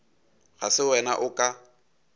ga se wena o ka